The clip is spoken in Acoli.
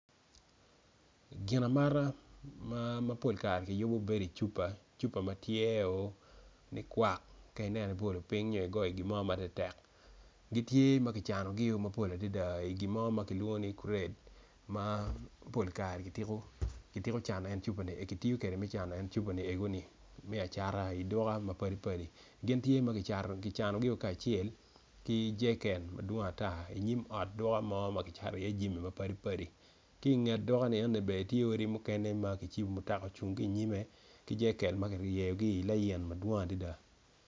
Ginamata mapol kare ki yubo bedo icup cupa matye o likwak ka inen ibolo piny nyo igoyo gimo matek tek gitye ma kicanogi mapol adada i iye gimo ma kilwongo ni kret mappl kare kitiyo kwedgi me cano en cupa nienoni me acata iduka mapadi padi gin tye ma ki canogi kacel ki jereken madwong ata inyim ot duka mo ma kicato i iye jami mapol ma padi padi ki nget duka nieni bene tye odi mukene ma kicibo mutakaocung ki nyime ki jereken ma kiryeyogi i lain madwong adada.